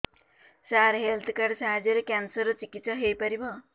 ସାର health card ସାହାଯ୍ୟରେ cancer ର ଚିକିତ୍ସା ହେଇପାରିବ